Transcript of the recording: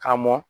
K'a mɔn